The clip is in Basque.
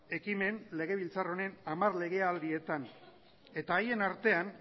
ekimen legebiltzar honen hamar legealdietan eta haien artean